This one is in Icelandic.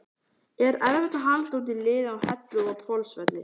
Er erfitt að halda út liði á Hellu og Hvolsvelli?